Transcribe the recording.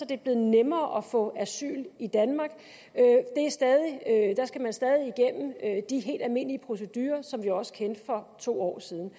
det er blevet nemmere at få asyl i danmark der skal man stadig gennem de helt almindelige procedurer som vi også kendte for to år siden